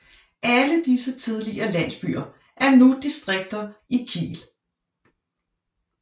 Alle disse tidligere landsbyer er nu distrikter i Kiel